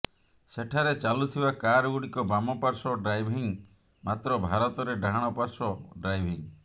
ସେଠାରେ ଚାଲୁଥିବା କାର ଗୁଡିକ ବାମ ପାର୍ଶ୍ୱ ଡ୍ରାଇଭିଂ ମାତ୍ର ଭାରତରେ ଡାହାଣ ପାର୍ଶ୍ୱ ଡ୍ରାଇଭିଂ